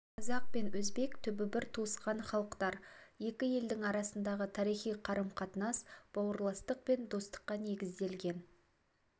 қазақ пен өзбек түбі бір туысқан халықтар екі елдің арасындағы тарихи қарым-қатынас бауырластық пен достыққа негізделген